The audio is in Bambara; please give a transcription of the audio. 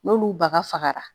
N'olu bagafagara